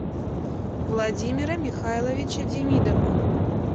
владимира михайловича демидова